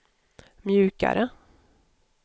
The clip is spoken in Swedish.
mjukare